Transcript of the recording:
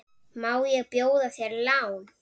Má bjóða þér lán?